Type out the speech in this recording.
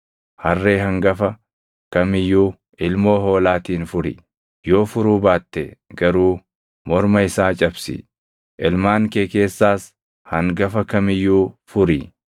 Harree hangafa kam iyyuu ilmoo hoolaatiin furi; yoo furuu baatte garuu morma isaa cabsi. Ilmaan kee keessaas hangafa kam iyyuu furi.